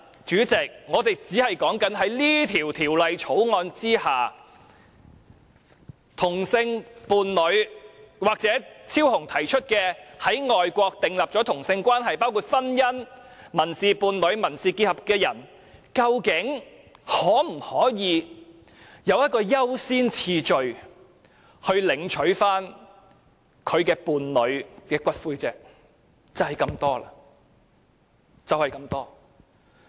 主席，我們今天討論的只是在《條例草案》之下，同性伴侶或張超雄議員提出的、已在外國訂立同性關係，包括婚姻、民事伴侶、民事結合的人，究竟可否享優先次序領取其伴侶的骨灰，只是這麼多而已。